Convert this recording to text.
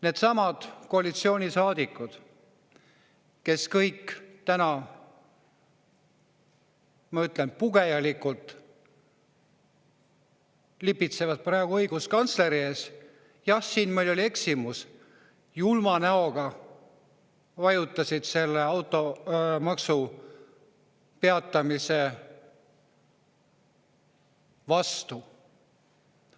Needsamad koalitsioonisaadikud, kes kõik täna, ma ütlen, pugejalikult lipitsevad praegu õiguskantsleri ees, öeldes, et jah, siin meil oli eksimus, julma näoga vajutasid selle automaksu peatamise vastu.